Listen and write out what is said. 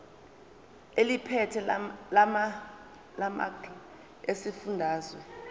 eliphethe lamarcl esifundazwe